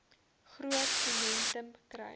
groot momentum kry